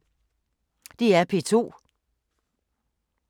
DR P2